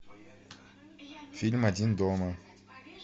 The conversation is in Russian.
фильм один дома